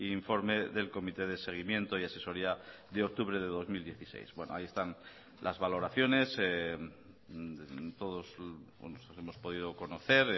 informe del comité de seguimiento y asesoría de octubre de dos mil dieciséis bueno ahí están las valoraciones todos hemos podido conocer